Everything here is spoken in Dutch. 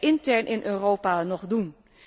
Wat kunnen wij intern in Europa nog doen?